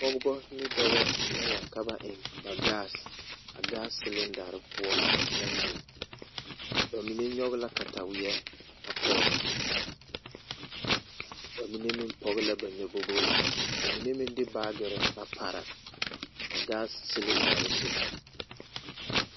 Pɔgeba ane dɔba la wa ka ba eŋ ba gas ba gas silindare poɔ naŋ biŋ ba mine nyɔge la kataweɛ a pɔge ba mine meŋ pɔge la nyɔbogre ka ba mine meŋ de baagere a pare a gas silindare zu.